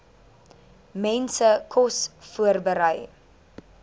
mense kos voorberei